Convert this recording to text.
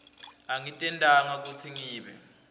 angitentanga kutsi ngibe